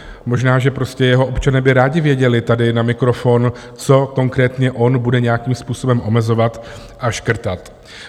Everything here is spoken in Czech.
Možná že prostě jeho občané by rádi věděli tady na mikrofon, co konkrétně on bude nějakým způsobem omezovat a škrtat.